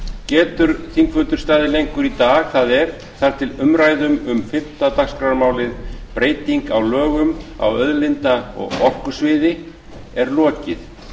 getur þingfundur staðið lengur í dag það er þar til umræðum um fimmta dagskrármálið breyting á lögum á auðlinda og orkusviði er lokið